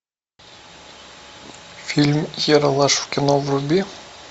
фильм ералаш в кино вруби